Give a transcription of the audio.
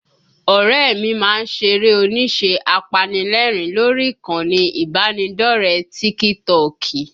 Ọ̀rẹ́ ẹ mi má ń ṣeré onísẹ́ apanilẹ́rìn lórí ìkànnì ìbánidọ́ọ̀rẹ́ tíkítọọ̀kì